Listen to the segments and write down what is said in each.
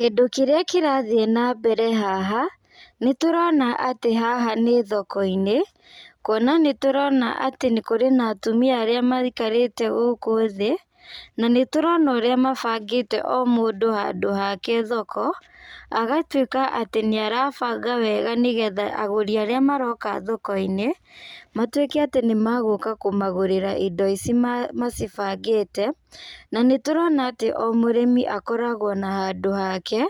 Kĩndũ kĩrĩa kĩrathiĩ nambere haha, nĩtũrona atĩ haha nĩ thoko-inĩ, kuona nĩtũrona atĩ kũrĩ na atumia arĩa maikarĩte gũkũ thĩ, na nĩtũrona ũrĩa mabangĩte o ũndũ handũ hake thoko, agatuĩka atĩ nĩarabanga wega nĩgetha agũri arĩa maroko thokoinĩ, matuĩke atĩ nĩmagũka kũmagũrĩra indo ici ma macibangĩte, na nĩtũrona atĩ o mũrĩmi akoragwo na handũ hake,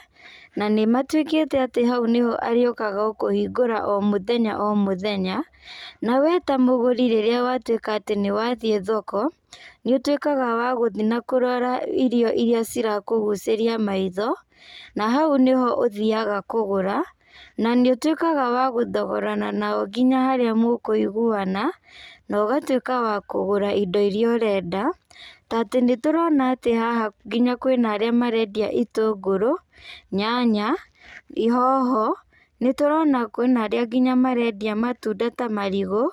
na nĩmatuĩkĩte atĩ hau nĩho arĩũkaga o kũhingũra o mũthenya o mũthenya, na we ta mũgũri rĩrĩa watuĩka atĩ nĩwathiĩ thoko, nĩũtuĩkaga wa gũthi na kũrora irio iria cirakũgũcĩria maitho, na hau nĩho ũthiaga kũgũra, na nĩũtuĩkaga wa gũthogorana nao nginya harĩa mũkũiguana, na ũgatuĩka wa kũgũra indo iria ũrenda, ta atĩ nĩtũrona atĩ haha nginya kwĩna arĩa marendia itũngũrũ, nyanya, hoho, nĩtũrona kwĩna arĩa nginya marendia mũtunda ta marigũ,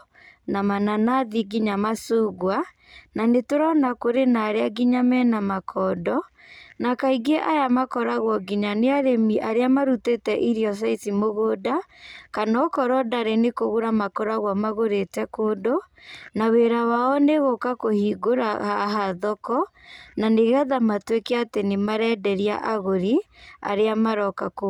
na mananathi nginya macingwa, na nĩtũrona kũrĩ arĩa nginya mena makondo, na kaingĩ aya makoragwo nginya nĩ arĩmi arĩa marutĩte irio ta ici mũgũnda, kana okorwo ndarĩ nĩkũgũra makoragwo magũrĩte kũndũ, na wĩra wao nĩgũka kũhingũra haha thoko, na nĩgetha matuĩke atĩ nĩmarenderia agũri, arĩa maroka kũgũra.